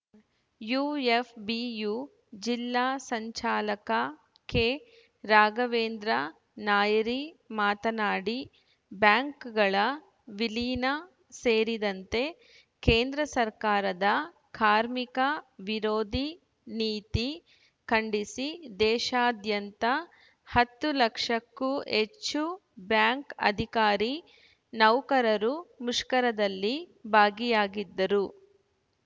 UFBU ಜಿಲ್ಲಾ ಸಂಚಾಲಕ ಕೆರಾಘವೇಂದ್ರ ನಾಯರಿ ಮಾತನಾಡಿ ಬ್ಯಾಂಕ್‌ಗಳ ವಿಲೀನ ಸೇರಿದಂತೆ ಕೇಂದ್ರ ಸರ್ಕಾರದ ಕಾರ್ಮಿಕ ವಿರೋಧಿ ನೀತಿ ಖಂಡಿಸಿ ದೇಶ್ಯಾದ್ಯಂತ ಹತ್ತು ಲಕ್ಷಕ್ಕೂ ಹೆಚ್ಚು ಬ್ಯಾಂಕ್‌ ಅಧಿಕಾರಿ ನೌಕರರು ಮುಷ್ಕರದಲ್ಲಿ ಭಾಗಿಯಾಗಿದ್ದರು